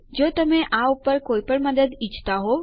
જો તમે આ ઉપર કોઇ પણ મદદ ઈચ્છતા હોવ તો કૃપા કરી સંપર્ક કરો